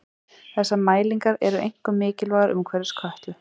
þessar mælingar eru einkum mikilvægar umhverfis kötlu